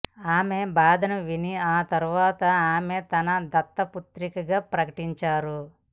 ఆమె బాధను విని ఆ తర్వాత ఆమె తన దత్తపుత్రికగా ప్రకటించారు